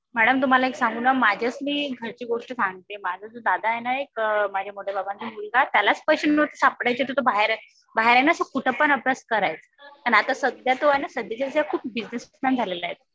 Madam तुम्हाला एक सांगू ना. माझ्याच मी घरची गोष्ट सांगते. माझा जो दादा आहे ना एक माझ्या मोठ्या बाबांचा मुलगा त्यालाच पैशे नव्हते तर तो सापडायचे बाहेर ना असा कुठेपण अभ्यास करायचा. आणि सध्या तो आहे ना सध्याच्या स्थितीला खूप बिझिनेसमन झालेला आहे.